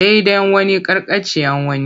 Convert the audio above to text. Daidan wani karkatccean wani.